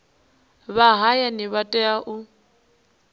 vha hayani vha tea u